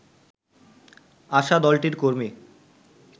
আসা দলটির কর্মী